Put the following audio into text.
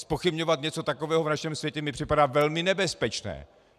Zpochybňovat něco takového v našem světě mi připadá velmi nebezpečné.